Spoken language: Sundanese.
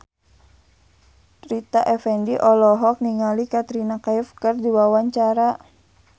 Rita Effendy olohok ningali Katrina Kaif keur diwawancara